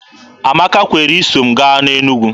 Amaka kwere iso m gaa Enugwu.